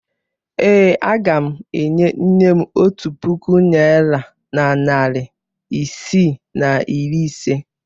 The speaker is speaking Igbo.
Ee, aga m enye nne m otu puku naịra na narị isii na iri ise.